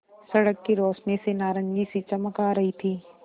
सड़क की रोशनी से नारंगी सी चमक आ रही थी